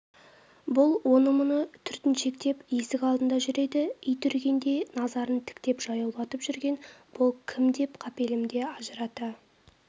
бұл оны-мұны түртіншектеп есік алдында жүр еді ит үрігенде назарын тіктеп жаяулатып жүрген бұл кім деп қапелімде ажырата